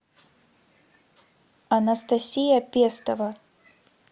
анастасия пестова